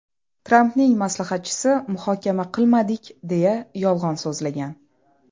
Trampning maslahatchisi muhokama qilmadik, deya yolg‘on so‘zlagan.